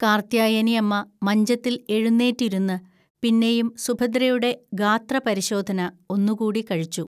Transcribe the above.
കാർത്ത്യായനിഅമ്മ മഞ്ചത്തിൽ എഴുന്നേറ്റിരുന്ന്, പിന്നെയും സുഭദ്രയുടെ ഗാത്രപരിശോധന ഒന്നുകൂടി കഴിച്ചു